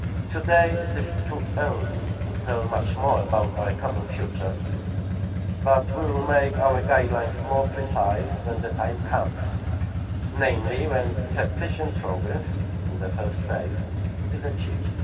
Today it is too early to tell much more about our common future, but we will make our guidelines more precise when the time comes, namely when sufficient progress in the first phase is achieved.